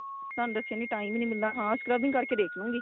ਤੁਹਾਨੂੰ ਦੱਸਿਆ time ਈ ਨਹੀਂ ਮਿਲਦਾ ਹਾਂ scrubbing ਕ਼ਰ ਕੇ ਦੇਖਲੂੰਗੀ